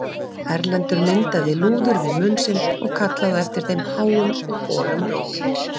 Erlendur myndaði lúður við munn sinn og kallaði á eftir þeim háum og holum rómi.